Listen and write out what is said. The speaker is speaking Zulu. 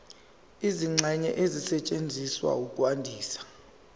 izingxenye ezisetshenziswa ukwandisa